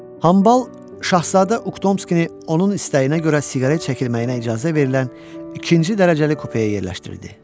Hambal şahzadə Uktomskini onun istəyinə görə siqaret çəkilməyinə icazə verilən ikinci dərəcəli kupaya yerləşdirildi.